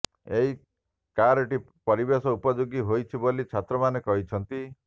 ଏହି କାର୍ଟି ପରିବେଶ ଉପଯୋଗୀ ହୋଇଛି ବୋଲି ଛାତ୍ରମାନେ କହିଛନ୍ତି